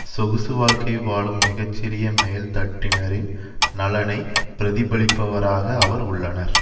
சொகுசு வாழ்க்கை வாழும் மிக சிறிய மேல் தட்டினரின் நலனை பிரதிபலிப்பவராக அவர் உள்ளனர்